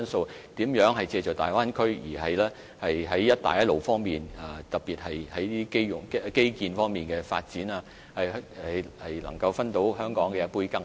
我們要思考如何借助大灣區特別是在基建方面的發展，令香港能夠在"一帶一路"的發展中分一杯羹。